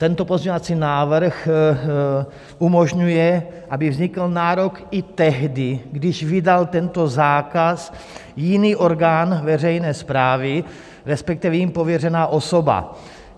Tento pozměňovací návrh umožňuje, aby vznikl nárok i tehdy, když vydal tento zákaz jiný orgán veřejné správy, respektive jím pověřená osoba.